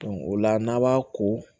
o la n'a b'a ko